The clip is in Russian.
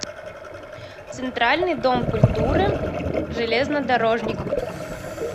центральный дом культуры железнодорожников